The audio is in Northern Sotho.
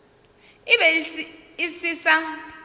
e be e se sa